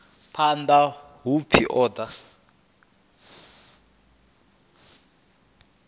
phanḓa u pfi u ḓo